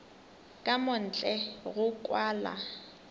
ka mo ntle go kwala